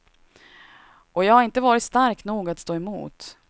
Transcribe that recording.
Och jag har inte varit stark nog att stå emot.